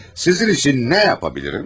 Sizin üçün nə yapa bilirim?